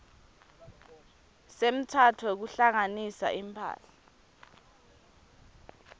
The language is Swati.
semtsetfo wekuhlanganisa imphahla